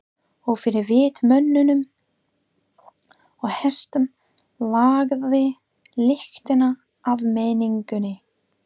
Og fyrir vit mönnum og hestum lagði lyktina af menningunni.